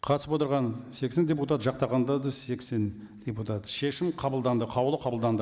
қатысып отырған сексен депутат жақтағандар да сексен депутат шешім қабылданды қаулы қабылданды